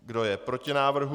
Kdo je proti návrhu?